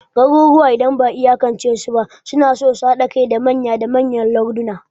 Garuruwa, idan ba'a iyakance su ba, suna son haɗa kai zuwa manya da manyan larduna.